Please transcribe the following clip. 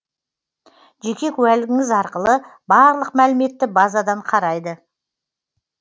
жеке куәлігіңіз арқылы барлық мәліметті базадан қарайды